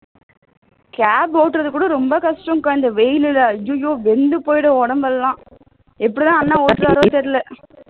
cab ஒட்டுறது கூட ரொம்ப கஷ்டம் கா இந்த வெயில்ல ஐயையோ வெந்துபோயிடும் உடம்பு எல்லாம் எப்படித்தான் அண்ணன் ஓட்டுறாரோ தெரியல